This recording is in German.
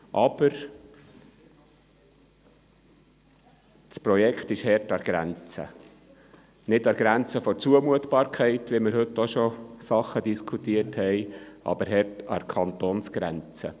Aber, das Projekt ist hart an der Grenze – nicht an der Grenze der Zumutbarkeit – solche Sachen haben wir heute auch schon behandelt –, sondern es ist hart an der Kantonsgrenze.